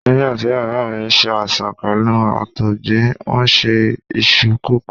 Nígbàtí Bàbá mi ṣe àìsàn pẹ̀lú Àtọ̀gbẹ, wón se iṣu kòkó.